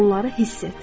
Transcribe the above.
Bunları hiss et.